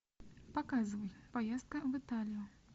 показывай поездка в италию